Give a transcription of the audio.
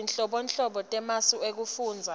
tinhlobonhlobo temasu ekufundza